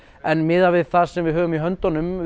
en miðað við það sem viðhöfum í höndunum